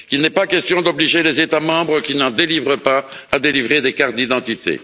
Il n'est pas question d'obliger les États membres qui n'en délivrent pas à délivrer des cartes d'identité.